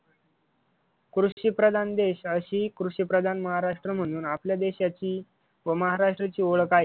कृषी प्रधान देश अशी कृषीप्रधान महाराष्ट्र म्हणून आपल्या देशाची व महाराष्ट्राची ओळख आहे.